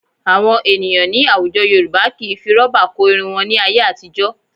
Àwọn ènìyàn ní àwùjọ Yorùbá kì í fi rọ́bà kó irun wọn ní ayé àtijọ́